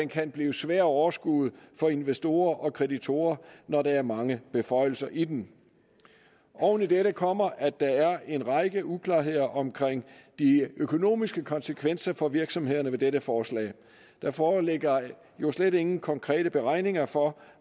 kan blive svær at overskue for investorer og kreditorer når der er mange beføjelser i den oven i dette kommer at der er en række uklarheder omkring de økonomiske konsekvenser for virksomhederne ved dette forslag der foreligger jo slet ingen konkrete beregninger for